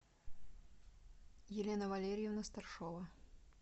елена валерьевна старшова